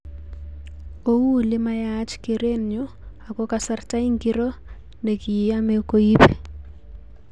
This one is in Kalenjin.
Ou liyamach kerenyu ako kasarta ingiro nekiyame koibi?